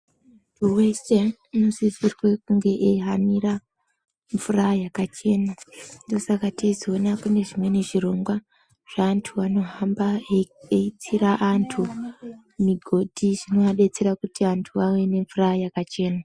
..wese unosisirwe kunge eihanira mvura yakachena. Ndoosaka teizoona kune zvimweni zvirongwa zveantu anohamba eitsira antu migodhi zvinoadetsera kuti antu ave nemvura yakachena.